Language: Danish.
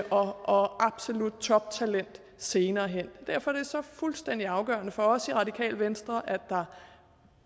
og absolut toptalent senere hen derfor er det så fuldstændig afgørende for os i radikale venstre at der